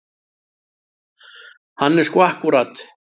Hann er svo akkúrat.